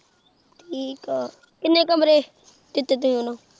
ਠੀਕ ਆ ਕਿੰਨੇ ਕਮਰੇ ਦਿੱਤੇ ਤੁਹੀਂ ਉਨੂੰ।